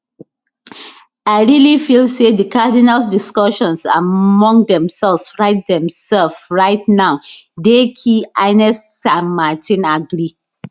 i really feel say di cardinals discussions among themselves right themselves right now dey key ines san martin agree